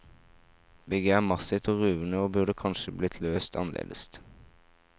Bygget er massivt og ruvende og burde kanskje blitt løst annerledes.